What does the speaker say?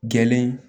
Gɛlen